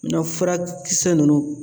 Nɔ furakisɛ ninnu